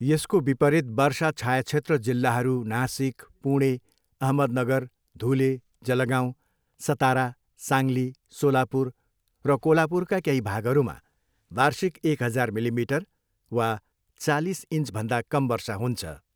यसको विपरीत वर्षा छायाक्षेत्र जिल्लाहरू नासिक, पुणे, अहमदनगर, धुले, जलगाँउ, सतारा, साङ्ली, सोलापुर र कोल्हापुरका केही भागहरूमा वार्षिक एक हजार मिलिमिटर वा चालिस इन्चभन्दा कम वर्षा हुन्छ।